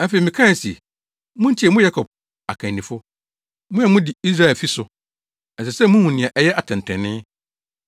Afei mekae se, “Muntie, mo Yakob akannifo, mo a mudi Israelfi so. Ɛsɛ sɛ muhu nea ɛyɛ atɛntrenee,